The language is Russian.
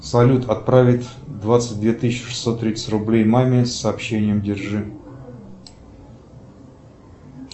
салют отправить двадцать две тысячи шестьсот тридцать рублей маме с сообщением держи